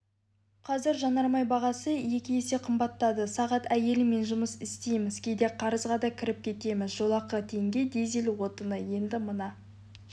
қазір жанармай бағасы екі есе қымбаттады сағат әйеліммен жұмыс істейміз кейде қарызға да кіріп кетеміз жолақы теңге дизель отыны енді мына